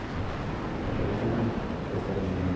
Cada um tem uma história de vida.